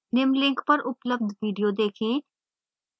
निम्न link पर उपलब्ध video देखें